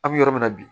An bɛ yɔrɔ min na bi